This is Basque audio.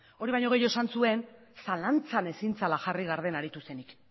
hori baino gehiago esan zuen zalantzan ezin zela jarri garden aritu zenik